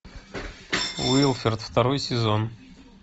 уилфред второй сезон